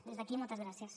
des d’aquí moltes gràcies